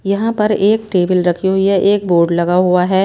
यहां पर एक टेबल रखी हुई है एक बोर्ड लगा हुआ है।